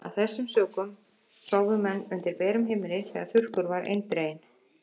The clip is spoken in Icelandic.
Af þessum sökum sváfu menn undir berum himni þegar þurrkur var eindreginn.